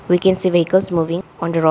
We can see vehicles moving on the road.